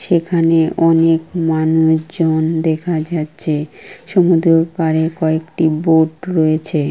সেখানে অনেক মানুষজন দেখা যাচ্ছে। সমুদ্রর পাড়ে কয়েকটি বোট রয়েছে।